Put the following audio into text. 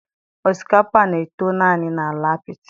Osikapa na-eto naanị na ala apiti